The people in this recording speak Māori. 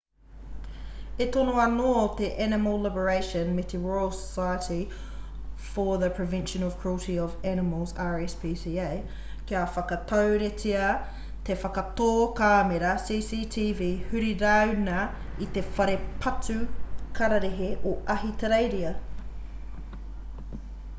e tono ana anō te animal liberation me te royal society for the prevention of cruelty to animals rspca kia whakaturetia te whakatō kāmera cctv huri rāuna i te whare patu kararehe o ahitereiria